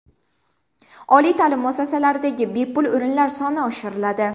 Oliy ta’lim muassasalaridagi bepul o‘rinlar soni oshiriladi.